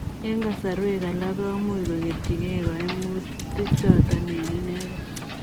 Eng kasarwek alaak komuuch kogetyii gei kaimutii chotok eng inegei.